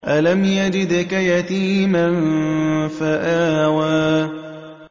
أَلَمْ يَجِدْكَ يَتِيمًا فَآوَىٰ